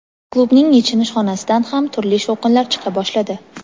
klubning yechinish xonasidan ham turli "shovqinlar" chiqa boshladi.